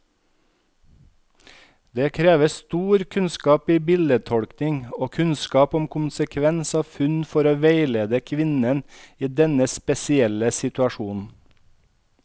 Det krever stor kunnskap i bildetolkning og kunnskap om konsekvens av funn, for å veilede kvinnen i denne spesielle situasjonen.